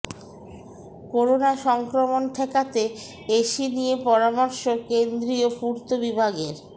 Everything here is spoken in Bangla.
করোনা সংক্রমণ ঠেকাতে এসি নিয়ে পরামর্শ কেন্দ্রীয় পূর্ত বিভাগের